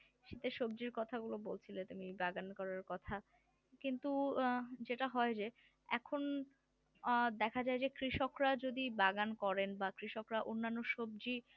সবজির কথাগুলো বলছিলে তুমি বাগান করার কথা কিন্তু অ্যাঁ যেটা হয় যে এখন অ্যাঁ দেখা যায় যে কৃষকরা যদি বাগান করেন বা কৃষকরা অন্যান্য সবজি